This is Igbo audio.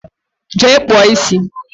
Jee kpụọ isi!